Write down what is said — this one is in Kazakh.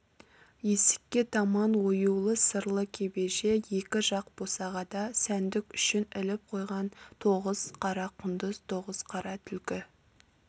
есікке таман оюлы сырлы кебеже екі жақ босағада сәндік үшін іліп қойған тоғыз қара құндыз тоғыз қара түлкі